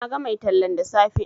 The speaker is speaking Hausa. Na ga mai tallan da safe